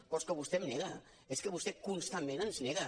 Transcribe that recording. però és que vostè em nega vostè constantment ens nega